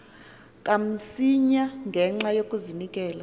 kamsinya ngenxa yokazinikela